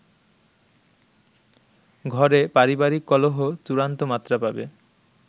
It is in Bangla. ঘরে পারিবারিক কলহ চূড়ান্ত মাত্রা পাবে।